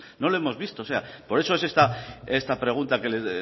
no lo hemos visto por eso es esta pregunta que le